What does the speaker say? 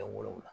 Kɛ wolonwula